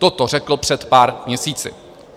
Toto řekl před pár měsíci.